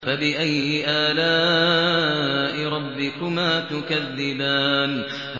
فَبِأَيِّ آلَاءِ رَبِّكُمَا تُكَذِّبَانِ